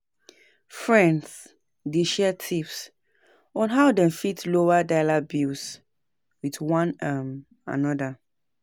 Friends dey share tips on how dem fit lower dier bills with one um another.